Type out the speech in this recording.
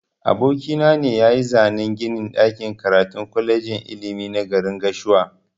Aboki na ne yayi zanan ginin ɗakin karatun kwalejin ilimi na garin gashua.